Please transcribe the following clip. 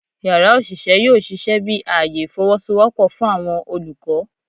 Yara oṣiṣẹ yoo ṣiṣẹ bi aaye ifowosowopo fun awọn olukọ